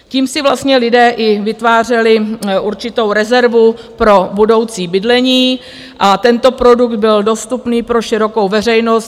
Tím si vlastně lidé i vytvářeli určitou rezervu pro budoucí bydlení a tento produkt byl dostupný pro širokou veřejnost.